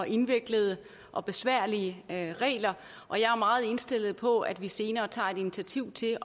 indviklede og besværlige regler og jeg er meget indstillet på at vi senere tager initiativ til